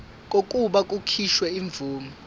kokuba kukhishwe imvume